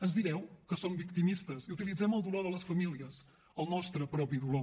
ens direu que som victimistes i utilitzem el dolor de les famílies el nostre propi dolor